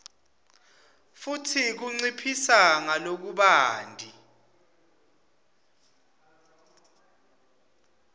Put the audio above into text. futsi kunciphisa ngalokubanti